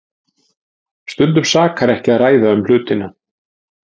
Stundum sakar ekki að ræða um hlutina.